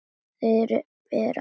Þeir bera ábyrgð.